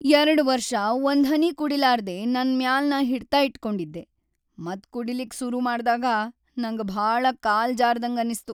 ಯರಡ ವರ್ಷ ಒಂದ್ಹನಿ ಕುಡಿಲಾರ್ದೆ ನನ್‌ ಮ್ಯಾಲ್‌ ನಾ ಹಿಡಿತ ಇಟ್ಕೊಂಡಿದ್ದೆ ಮತ್‌ ಕುಡಿಲಿಕ್ಕಿ ಸುರು ಮಾಡ್ದಾಗ ನಂಗ ಭಾಳ ಕಾಲ್ ಜಾರ್ದಂಗನಿಸ್ತು.